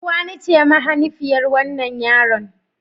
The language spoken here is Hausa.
Uwani ce mahanifiyar wannan yaron.